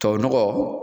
Tubabu nɔgɔ